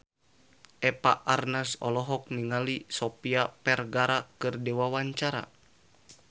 Eva Arnaz olohok ningali Sofia Vergara keur diwawancara